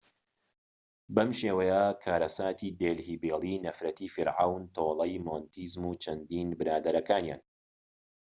بەم شێوەیە کارەساتی دێلهی بێلی نەفرەتی فیرعەون تۆڵەی مۆنتێزوم و چەندین برادەرەکانیان